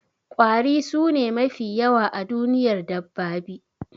kwari sune mafi yawa a duniyar dabbabi